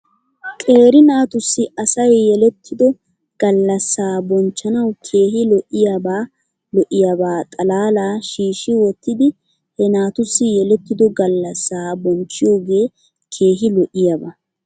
Qeeri naatussi asay yelettido gallasaa bonchchanaw keehi lo'iyaabaa lo'iyaabaa xalaala shiishshi wottidi he naatussi yelettido galasaa bonchchiyoogee keehi lo'iyaaba .